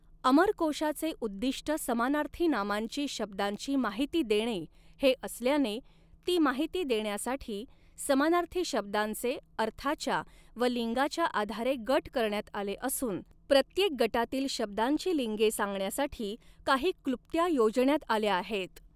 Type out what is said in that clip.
अमरकोशाचे उद्दिष्ट समानार्थी नामांची शब्दांची माहिती देणे हे असल्याने ती माहिती देण्यासाठी समानार्थी शब्दांचे अर्थाच्या व लिंगाच्या आधारे गट करण्यात आले असून प्रत्येक गटातील शब्दांची लिंगे सांगण्यासाठी काही क्लृप्त्या योजण्यात आल्या आहेत.